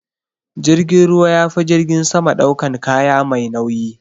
Jirgin ruwa yafi jirgin sama daukan kaya mai nauyi.